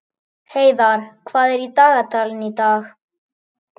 Heiðarr, hvað er á dagatalinu í dag?